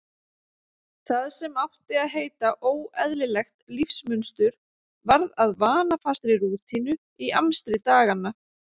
Það sem átti að heita óeðlilegt lífsmunstur varð að vanafastri rútínu í amstri daganna.